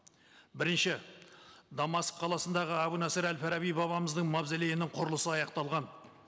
бірінші дамаск қаласындағы әбу насыр әл фараби бабамыздың мавзолейінің құрылысы аяқталған